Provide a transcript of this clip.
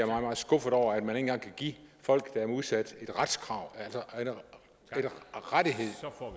meget meget skuffet over at man ikke engang kan give folk der er udsatte et retskrav altså en rettighed